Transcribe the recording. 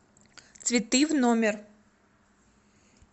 цветы в номер